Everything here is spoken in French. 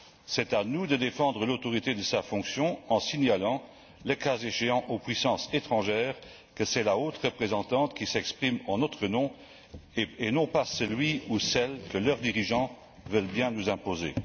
C'est à nous qu'il revient de défendre l'autorité de sa fonction en signalant, le cas échéant, aux puissances étrangères que c'est la haute représentante qui s'exprime en notre nom et non pas celui ou celle que leurs dirigeants veulent bien nous imposer.